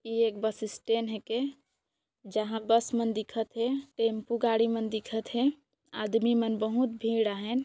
यह एक bus station हे के जहाँ बस मन दिखत हे टेम्पो गाड़ी मन दिखत हे आदमी मन बोहोत भीड़ आहेन--